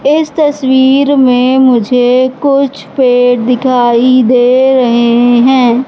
इस तस्वीर में मुझे कुछ पेड़ दिखाई दे रहे हैं।